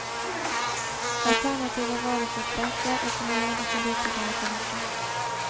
Alternativet var å få presse, opinion og politikere på nakken.